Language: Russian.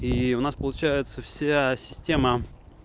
и у нас получается вся система